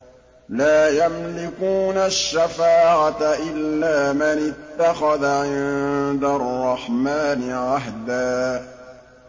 لَّا يَمْلِكُونَ الشَّفَاعَةَ إِلَّا مَنِ اتَّخَذَ عِندَ الرَّحْمَٰنِ عَهْدًا